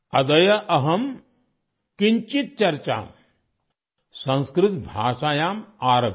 अद्य अहं किञ्चित् चर्चा संस्कृत भाषायां आरभे